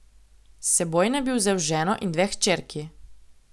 S seboj naj bi vzel ženo in dve hčerki.